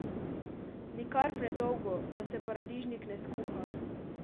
Nikar predolgo, da se paradižnik ne skuha!